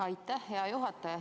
Aitäh, hea juhataja!